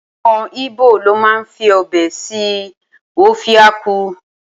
Awọn ibo lo ma fibe ṣe obe akwu